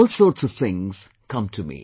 All sorts of things come to me